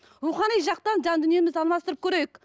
рухани жақтан жан дүниемізді алмастырып көрейік